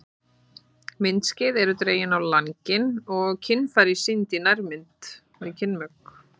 Myndskeið eru dregin á langinn og kynfæri sýnd í nærmynd við kynmök.